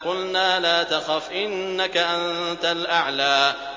قُلْنَا لَا تَخَفْ إِنَّكَ أَنتَ الْأَعْلَىٰ